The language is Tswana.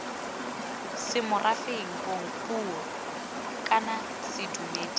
semorafeng bong puo kana sedumedi